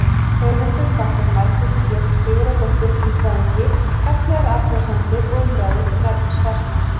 Höfundur þakkar Margréti Björk Sigurðardóttur líffræðingi gagnlegar athugasemdir og umræður um efni svarsins.